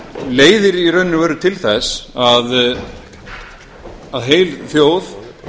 leiðir í raun og veru til þess að heil þjóð